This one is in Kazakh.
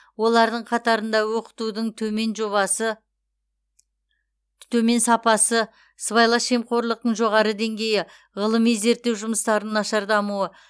олардың қатарында оқытудың төмен жобасы төмен сапасы сыбайлас жемқорлықтың жоғары деңгейі ғылыми зерттеу жұмыстарының нашар дамуы